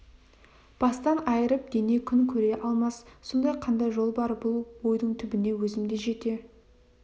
бастан айырылып дене күн көре алмас сонда қандай жол бар бұл ойдың түбіне өзім де жете